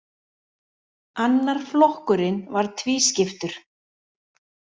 Annar flokkurinn var tvískiptur.